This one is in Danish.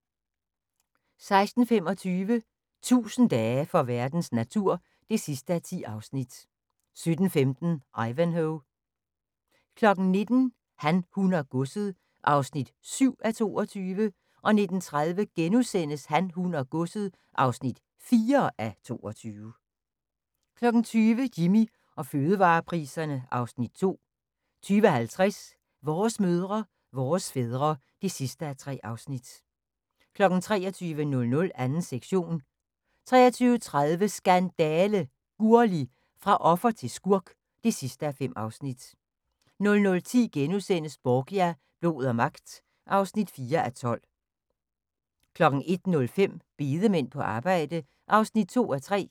16:25: 1000 dage for verdens natur (10:10) 17:15: Ivanhoe 19:00: Han, hun og godset (7:22) 19:30: Han, hun og godset (4:22)* 20:00: Jimmy og fødevarepriserne (Afs. 2) 20:50: Vores mødre, vores fædre (3:3) 23:00: 2. sektion 23:30: Skandale! – Gurli, fra offer til skurk (5:5) 00:10: Borgia – blod og magt (4:12)* 01:05: Bedemænd på arbejde (2:3)